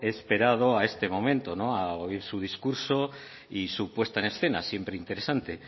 he esperado a este momento a oír su discurso y su puesta en escena siempre interesante